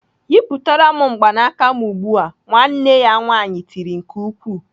"Yịpụtara m mgbanaka m ugbu a!" Nwanne ya nwaanyị tiri nke ukwuu.